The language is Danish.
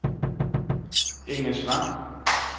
Engesvang